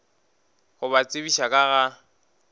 go ba tsebiša ka ga